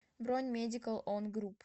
бронь медикал он груп